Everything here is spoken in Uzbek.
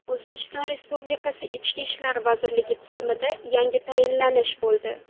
O‘zbekiston Respublikasi Ichki ishlar vazirligi tizimida yangi tayinlanish bo‘ldi.